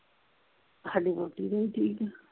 ਸਾਡੀ ਵਹੁਟੀ ਵੀ ਠੀਕ।